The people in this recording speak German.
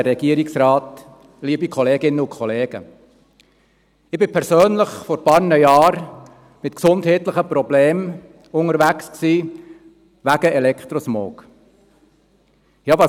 Ich war vor einigen Jahren persönlich mit gesundheitlichen Problemen wegen Elektrosmog unterwegs.